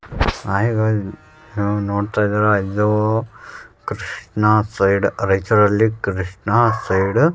ನೀವು ನೋಡ್ತಾ ಇದೀರ ಅಯ್ಯೋ ಕ್ರಷ್ಣಾ ಸೈಡ್ ರೈಚೂರಲ್ಲಿ ಕ್ರಷ್ಣಾ ಸೈಡ್ --